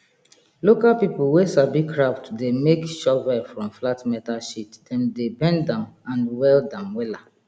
local pipul wey sabi craft dey make shovel from flat metal sheet dem dey bend am and weld am wela